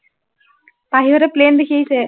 পাহিহঁতে plane দেখি আহিছে